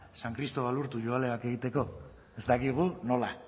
san cristobal urtu egiteko ez dakigu nola